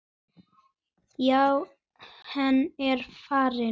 Já, hann er farinn